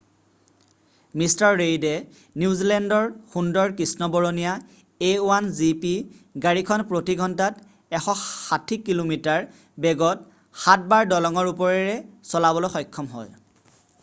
mister ৰেইডে নিউজিলেণ্ডৰ সুন্দৰ কৃষ্ণবৰণীয়া a1 gp গাড়ীখন প্ৰতি ঘণ্টাত 160 কিলোমিটাৰ বেগত 7 বাৰ দলঙৰ ওপৰৰে চলাবলৈ সক্ষম হ'য়